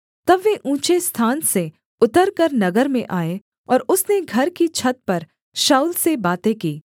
तब वे ऊँचे स्थान से उतरकर नगर में आए और उसने घर की छत पर शाऊल से बातें की